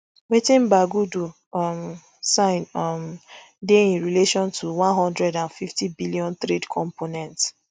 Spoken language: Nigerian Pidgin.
wetin bagudu um sign um dey in relation to one hundred and fifty billion trade component